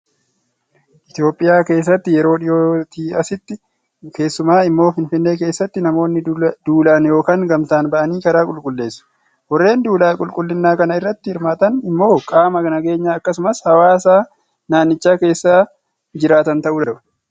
Itoophiyaa keessatti yeroo dhiyootii asitti, keessumaa immoo finfinnee keessatti namoonni duulaan yookaan gamtaan ba'anii karaa qulqulleessu. Warreen duula qulqullinaa kana irratti hirmaatan immoo qaama nageenyaa akkasumas haawaasa naannicha keessa jiraatan ta'uu danda'u.